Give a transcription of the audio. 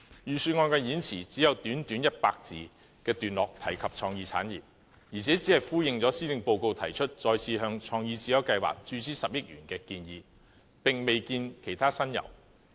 預算案的演辭只有短短100字的段落提及創意產業，而且只是呼應施政報告提出再次向創意智優計劃注資10億元的建議，並未見其他新猷。